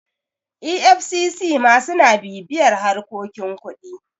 efcc ma suna bibiyar harkokin kuɗi